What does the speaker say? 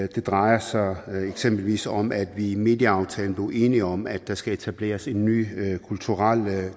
det drejer sig eksempelvis om at vi i medieaftalen blev enige om at der skal etableres en ny kulturel